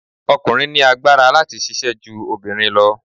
Ọkùnrin ní agbára láti ṣisẹ́ ju obìnrin lọ.